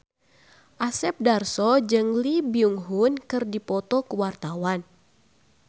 Asep Darso jeung Lee Byung Hun keur dipoto ku wartawan